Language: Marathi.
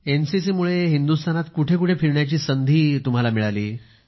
एनसीसी मुळे हिंदुस्थानात कुठे कुठे फिरण्याची संधी मिळाली